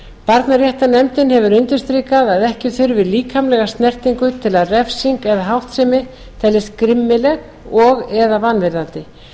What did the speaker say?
barnaréttarnefndin hefur undirstrikað að ekki þurfi líkamlega snertingu til að refsing eða háttsemi teljist grimmileg og eða vanvirðandi